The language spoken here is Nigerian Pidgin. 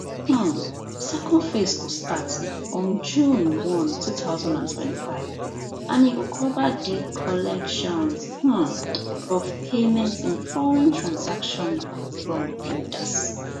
um second phase go start on june one two thousand and twenty-five and e go cover di collections um of payments in foreign transaction from mdas